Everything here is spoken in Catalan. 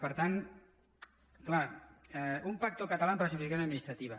per tant és clar un pacto catalán para la simplificación administrativa